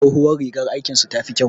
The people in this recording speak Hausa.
Tsohuwar rigar aikin su ta fi kyau